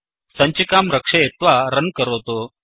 सञ्चिकां रक्षयित्वा रन् करोतु